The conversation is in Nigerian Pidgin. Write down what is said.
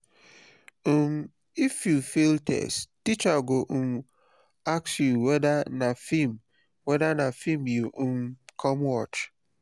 um if you fail test teacher go um ask whether na film whether na film you um come watch.